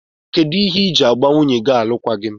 Kedu ihe iji gba nwunye gi alụkwaghim?